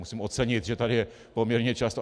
Musím ocenit, že tady je poměrně často.